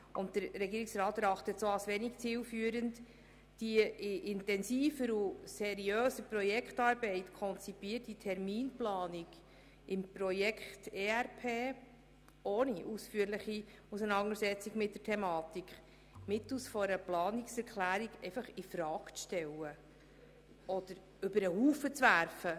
Der Regierungsrat erachtet es als wenig zielführend, die in intensiver und seriöser Projektarbeit konzipierte Terminplanung im Projekt ERP ohne ausführliche Auseinandersetzung mit der Thematik mittels einer Planungserklärung infrage zu stellen oder über den Haufen zu werfen.